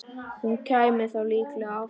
Hún kæmi þá líklega aftur.